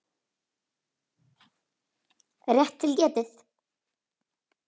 Rétt til getið.